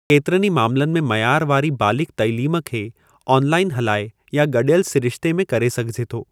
केतिरनि ई मामलनि में मयार वारी बालिग़ तइलीम खे ऑनलाइन हलाए या गॾियलु सिरिश्ते में करे सघिजे थो।